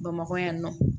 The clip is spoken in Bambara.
Bamakɔ yan nɔ